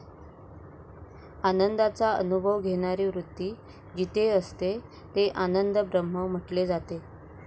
आनंदाचा अनुभव घेणारी वृत्ती जिथे असते ते आनंद ब्रह्म म्हटले जाते.